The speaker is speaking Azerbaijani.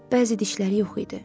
Bəzi dişləri yox idi.